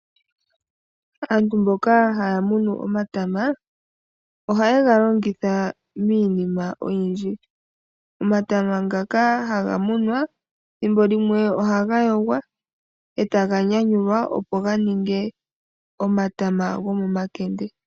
Aantu mboka haya munu omatama, oha yega longitha miinima oyindji. omatama ngaka haga munwa thimbo limwe ohaga yogwa etaga nyanyulwa opo ga ninge omatama go momakende.